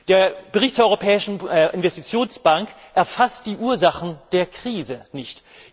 Der Bericht zur Europäischen Investitionsbank erfasst die Ursachen der Krise nicht.